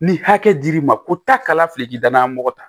Ni hakɛ dir'i ma ko taa kala fili k'i danayamɔgɔ ta